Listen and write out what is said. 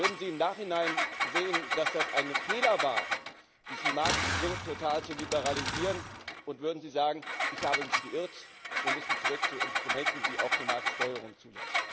Würden Sie im Nachhinein sehen, dass es ein Fehler war, diesen Markt so total zu liberalisieren, und würden Sie sagen Ich habe mich geirrt, wir müssen zurück zu Instrumenten, die auch eine Marktsteuerung zulassen?